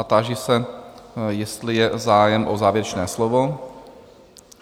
A táži se, jestli je zájem o závěrečné slovo?